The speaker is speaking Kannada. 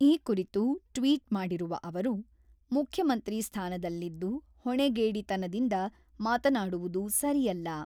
ಈ ಕುರಿತು ಟ್ವಿಟ್ ಮಾಡಿರುವ ಅವರು, ಮುಖ್ಯಮಂತ್ರಿ ಸ್ಥಾನದಲ್ಲಿದ್ದು ಹೊಣೆಗೇಡಿತನದಿಂದ ಮಾತನಾಡುವುದು ಸರಿಯಲ್ಲ.